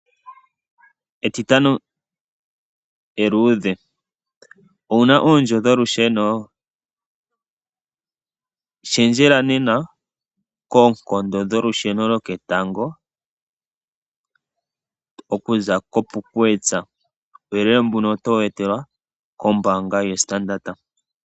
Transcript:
Etitano eluudhe. Owu na oondjo dholusheno? Shendjela nena koonkondo dholusheno dhoketango okuza koPupkewitz. Uuyele mbuno otowu etelwa kombaanga yoStandard.